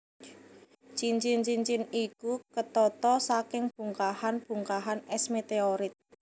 Cincin cincin iku ketata saking bongkahan bongkahan es meteorit